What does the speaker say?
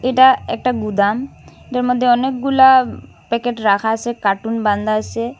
এটা একটা গুদাম এটার মধ্যে অনেকগুলা প্যাকেট রাখা আসে কার্টুন বান্ধা আসে।